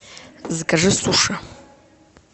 закажи суши